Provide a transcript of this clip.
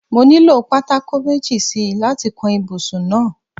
No nílò pátákó méjì si láti kan ibùsùn náà.